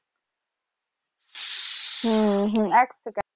হু হু এক সেকেন্ড